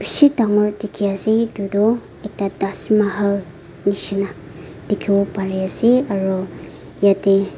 bishi dangor dikhiase edu tu ekta taj mahal nishina dikhiwo parease aro yatae--